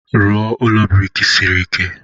Rụọ ụlọ brik siri ike.